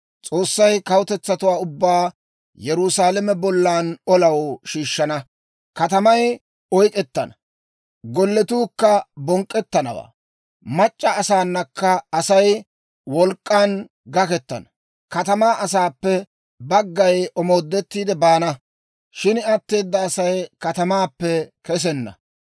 S'oossay kawutetsatuwaa ubbaa Yerusaalame bollan olaw shiishshana; katamay oyk'k'ettana; golletuukka bonk'k'ettanawaa; mac'c'a asaanakka Asay wolk'k'an gakettana. Katamaa asaappe baggay omoodettiide baana; shin atteeda Asay katamaappe kesenna.